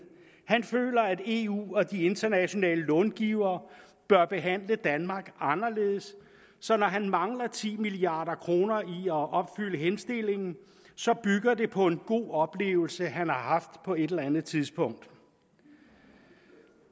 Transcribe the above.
han føler at eu og de internationale långivere bør behandle danmark anderledes så når han mangler ti milliard kroner i at opfylde henstillingen bygger det på en god oplevelse han har haft på et eller andet tidspunkt